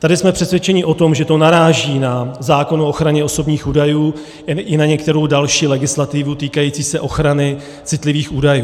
Tady jsme přesvědčeni o tom, že to naráží na zákon o ochraně osobních údajů i na některou další legislativu týkající se ochrany citlivých údajů.